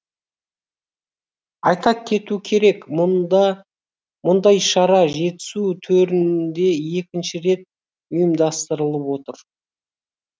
айта кету керек мұндай шара жетісу төрінде екінші рет ұйымдастырылып отыр